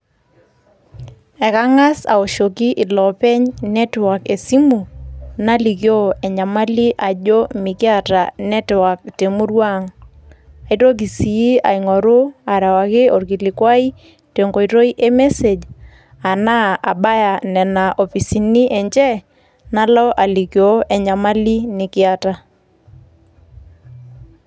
Ekang`as aoshoki iloopeny network esimu nalikio enyamali ajo mikiata network te murua ang, naitoki sii aing`oru arewaki olkilikuwai te nkoitoi emesej enaa abaya nena ofisini enje nalo alikioo enyamali nikiata.